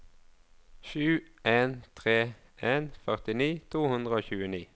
sju en tre en førtini to hundre og tjueni